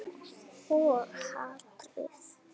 Og hatrið.